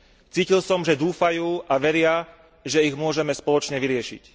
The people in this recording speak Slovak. Cítil som, že dúfajú a veria, že ich môžeme spoločne vyriešiť.